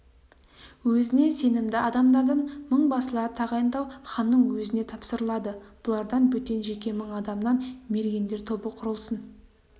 өзіне сенімді адамдардан мыңбасылар тағайындау ханның өзіне тапсырылады бұлардан бөтен жеке мың адамнан мергендер тобы құрылсын